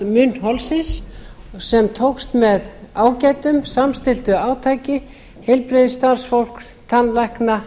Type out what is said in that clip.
heilbrigðisástand munnholsins sem tókst með ágætum samstilltu átaki heilbrigðisstarfsfólks tannlækna